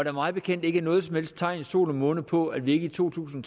er mig bekendt ikke noget som helst tegn i sol måne på at vi ikke i to tusind